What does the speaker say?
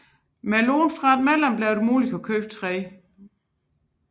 Med et lån fra et medlem blev det muligt at købe tre